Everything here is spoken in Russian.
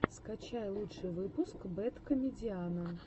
скачай лучший выпуск бэд комедиана